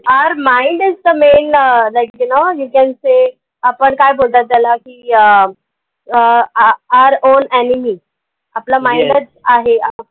our mind is the main right you know you can say आपण काय बोलतात त्याला की अह अह आ आ are all enemy आहे.